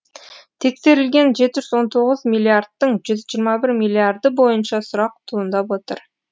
тексерілген жеті жүз он тоғыз миллиардтың жүз жиырма бір миллиарды бойынша сұрақ туындап отыр